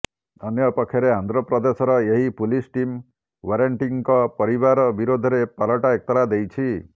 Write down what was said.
ଅନ୍ୟପକ୍ଷରେ ଆନ୍ଧ୍ରପ୍ରଦେଶର ଏହି ପୁଲିସ୍ ଟିମ୍ ୱାରେଣ୍ଟିଙ୍କ ପରିବାର ବିରୋଧରେ ପାଲଟା ଏତଲା ଦେଇଛି